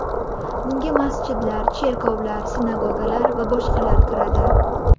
Bunga masjidlar, cherkovlar, sinagogalar va boshqalar kiradi.